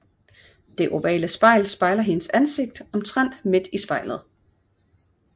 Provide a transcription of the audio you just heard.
Det ovale spejl spejler hendes ansigt omtrent midt i spejlet